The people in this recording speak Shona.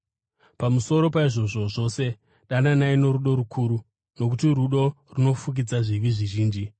Pamusoro paizvozvo zvose dananai norudo rukuru, nokuti rudo runofukidza zvivi zvizhinji.